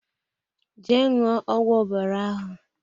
Jee ṅụọ ọgwụ ọbara ahụ!